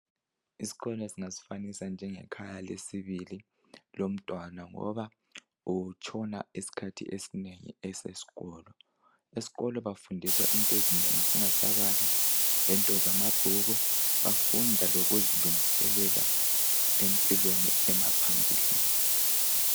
Isikolo singasifanisa njengekhaya lesibili lomntwana ngoba utshona isikhathi esinengi esesikolo, esikolo bafundisa into ezinengi singasabali lento zamabhuku bafunda lokuzilungiselela empilweni emaphambilini.